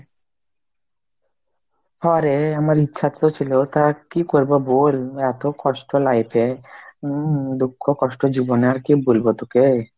হো রে আমার ইচ্ছা তো ছিল তা কি করবো বল, এতো কষ্ট life এ উম দুঃখ কষ্ট জীবনে আর কি বলবো তোকে,